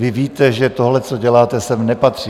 Vy víte, že tohle, co děláte, sem nepatří.